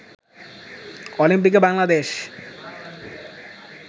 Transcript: অলিম্পিকে বাংলাদেশ